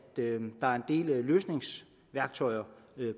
er en del løsningsværktøjer